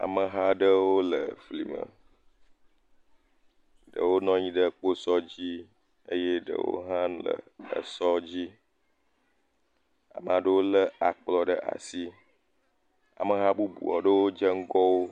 Ameha aɖewo le fli me. Ɖewo nɔ anyi ɖe kposɔ dzi eye ɖewo hã le esɔ dzi. Ame aɖewo le akplɔ ɖe asi. Ameha bubu aɖewo dze ŋgɔwo.